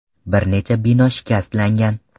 Bir necha bino shikastlangan.